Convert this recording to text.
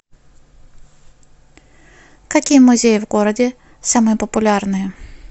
какие музеи в городе самые популярные